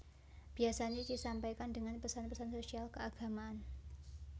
Biasanya disampaikan dengan pesan pesan sosial dan keagamaan